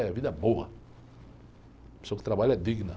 é vida boa. A pessoa que trabalha é digna.